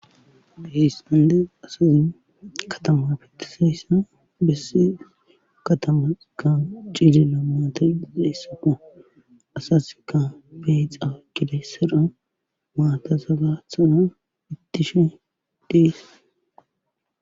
Heestande asazin katama fitisayssa besse katamas ka ciizilla maata deessappa asaska beexa gile sira maata saga tsana ittishin deessa